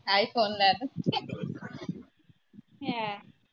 iPhone ਲੈ ਦੋ